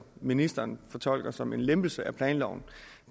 ministeren fortolker som en lempelse af planloven